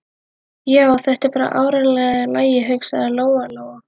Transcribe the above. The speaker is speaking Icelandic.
Já, þetta er bara áreiðanlega í lagi, hugsaði Lóa Lóa.